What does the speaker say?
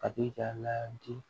A b'i ka ladi